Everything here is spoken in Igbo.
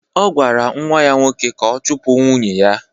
Ọ gwara nwa ya nwoke ka ọ chụpụ nwunye ya.